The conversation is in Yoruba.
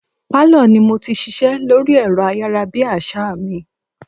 Pálọ̀ ni mo ti ṣiṣẹ́ lórí ẹ̀rọ ayára bí àsá mi.